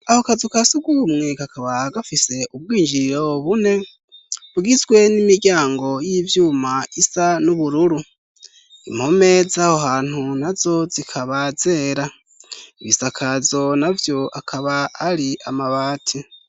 aho kazuka asugumwe kakaba gafise ubwinjiriro bune bgizwe n'imiryango y'ivyuma isa n'ubururu impome zaho hanhu nazo zikaba zera ibisakazo na vyo akaba ali amabati